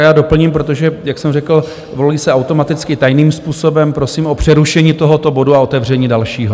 A já doplním, protože jak jsem řekl, volí se automaticky tajným způsobem, prosím o přerušení tohoto bodu a otevření dalšího.